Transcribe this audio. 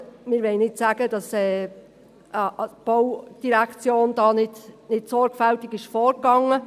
Wir möchten nicht sagen, dass die BVE da nicht sorgfältig vorging.